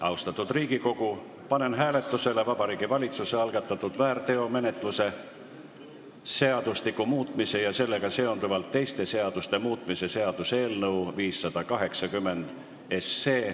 Austatud Riigikogu, panen hääletusele Vabariigi Valitsuse algatatud väärteomenetluse seadustiku muutmise ja sellega seonduvalt teiste seaduste muutmise seaduse eelnõu 580.